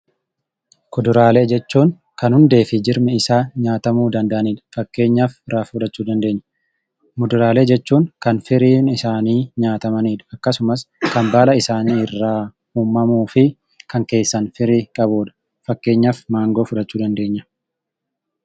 Kuduraalee jechuun kan hundee fi jirmii isaa nyaatamuu danda'anidha. Faakkeenyaaf Rafuu fudhachuu dandeenya. Muduraalee jechuun kan firiin isaanni nyaatamannidha. Akkasumaas kan bala isaani irra uumamuu fi kan keessa firii qabudha. Faakkeenyaaf Mangoo fudhachuu dandeenya.